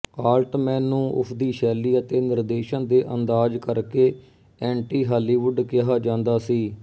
Altman ਨੂੰ ਉਸਦੀ ਸ਼ੈਲੀ ਅਤੇ ਨਿਰਦੇਸ਼ਨ ਦੇ ਅੰਦਾਜ਼ ਕਰਕੇ ਐਂਟੀਹਾਲੀਵੁੱਡ ਕਿਹਾ ਜਾਂਦਾ ਸੀ